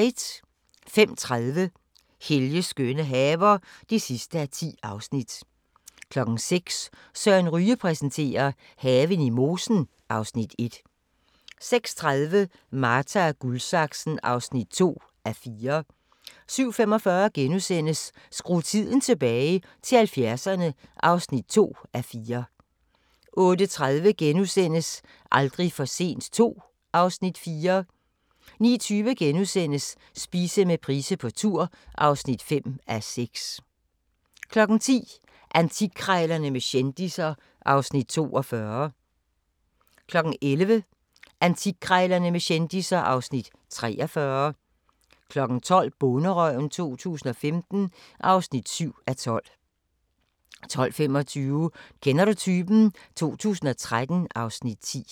05:30: Helges skønne haver (10:10) 06:00: Søren Ryge præsenterer: Haven i mosen (Afs. 1) 06:30: Marta & Guldsaksen (2:4) 07:45: Skru tiden tilbage – til 70'erne II (2:4)* 08:30: Aldrig for sent II (Afs. 4)* 09:20: Spise med Price på tur (5:6)* 10:00: Antikkrejlerne med kendisser (Afs. 42) 11:00: Antikkrejlerne med kendisser (Afs. 43) 12:00: Bonderøven 2015 (7:12) 12:25: Kender du typen? 2013 (Afs. 10)